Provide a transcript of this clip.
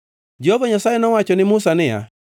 Jehova Nyasaye nowacho ne Musa niya